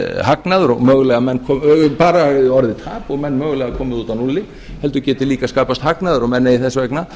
tap og menn mögulega komið út á núlli heldur geti líka skapast hagnaður og menn eigi þess vegna